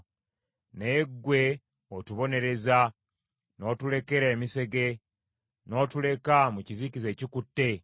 Naye ggwe otubonerezza n’otulekera emisege, n’otuleka mu kizikiza ekikutte.